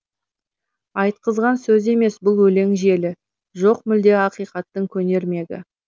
айтқызған сөз емес бұл өлең желі жоқ мүлде ақиқаттың көнермегі